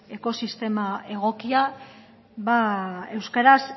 ekosistema egokia euskaraz